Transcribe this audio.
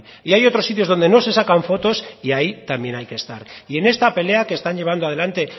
y hay otros sitios donde no se sacan fotos y ahí también hay que estar y en esta pelea que están llevando adelante